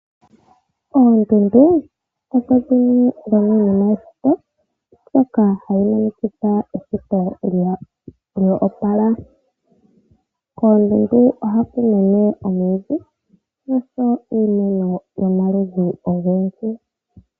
Oondundu odho dhimwe dhomiinima yeshito ndhoka hadhi monikitha eshito lyo opala. Koondundu ohaku mene omwiidhi noshowo iimeno yomaludhi ogendji.